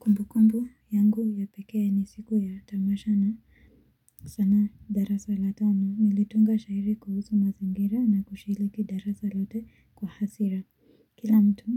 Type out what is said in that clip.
Kumbu kumbu yangu ya pekee ni siku ya tamasha na sanaa darasa la tano nilitunga shairi kuhusu mazingira na kushiriki darasa lote kwa hasira kila mtu